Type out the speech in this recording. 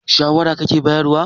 shawara kake bayarwa?